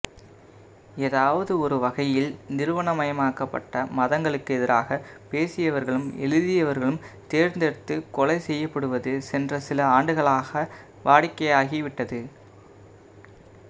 ஏதாவது ஒரு வகையில் நிறுவனமயப்பட்ட மதங்களுக்கு எதிராகப் பேசியவர்களும் எழுதியவர்களும் தேர்ந்தெடுத்துக் கொலை செய்யப்படுவது சென்ற சில ஆண்டுகளாக வாடிக்கையாகிவிட்டது